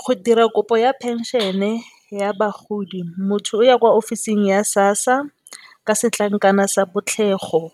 Go dira kopo ya phenšene ya bagodi motho o ya kwa ofising ya SASSA ka setlankana sa botlhlego,